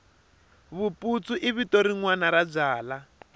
vuputsu i vito rinwani ra byala